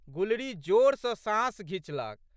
गुलरी जोर सँ साँस घिचलक।